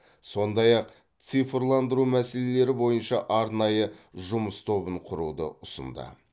сондай ақ цифрландыру мәселелері бойынша арнайы жұмыс тобын құруды ұсынды